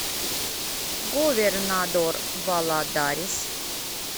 говернадор валадарис